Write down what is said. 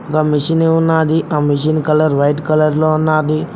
ఆ మిషన్ ఉన్నది ఆ మెషిన్ కలర్ వైట్ కలర్ లో ఉన్నది.